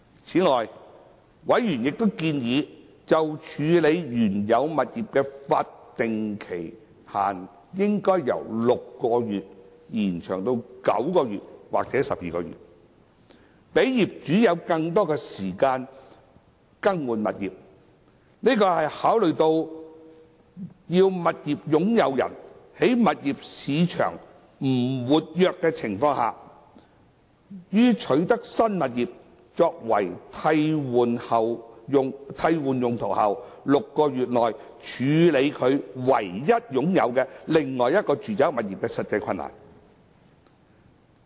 此外，委員亦建議就處置原有物業的法定期限應由6個月延長至9個月或12個月，讓業主有更多時間更換物業。這是考慮到要物業擁有人在物業市場不活躍的情況下，於取得新物業作替換用途後的6個月內處置他唯一擁有的另一住宅物業的實際困難。